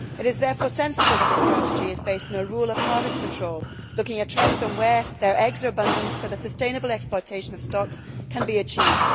It is therefore sensible that this strategy is based on a rule of harvest control, looking at trends on where their eggs are abundant so that the sustainable exploitation of stocks can be achieved.